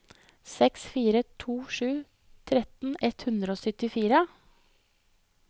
seks fire to sju tretten ett hundre og syttifire